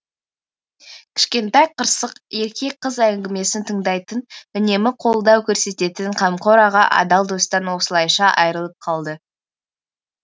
кішкентай қырсық ерке қыз әңгімесін тыңдайтын үнемі қолдау көрсететін қамқор аға адал достан осылайша айырылып қалды